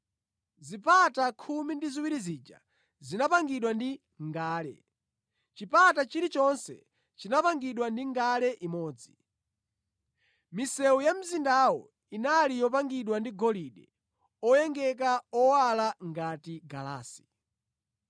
Zipata khumi ndi ziwiri zija zinapangidwa ndi ngale, chipata chilichonse chinapangidwa ndi ngale imodzi. Misewu ya mzindawo inali yopangidwa ndi golide oyengeka, owala ngati galasi.